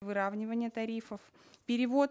выравнивания тарифов перевод